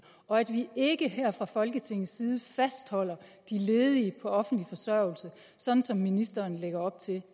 og vi ikke her fra folketingets side fastholder de ledige på offentlig forsørgelse sådan som ministeren lægger op til